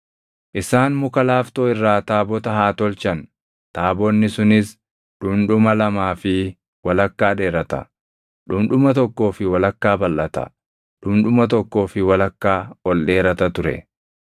“Isaan muka laaftoo irraa taabota haa tolchan; taabonni sunis dhundhuma lamaa fi walakkaa dheerata; dhundhuma tokkoo fi walakkaa balʼata; dhundhuma tokkoo fi walakkaa ol dheerata ture.